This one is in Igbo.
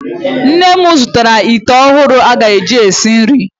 Nne m zụtara ite ọhụrụ aga eji esi nri.